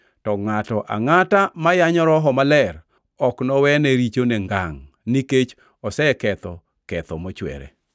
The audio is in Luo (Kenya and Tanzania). To ngʼato angʼata ma yanyo Roho Maler ok nowene richone ngangʼ, nikech oseketho ketho mochwere.”